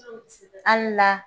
Ani wula!